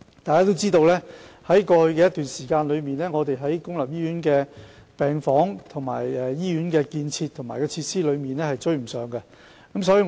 大家也知道，在過去一段時間，公立醫院在病房、醫院建設及設施方面均無法追上需求。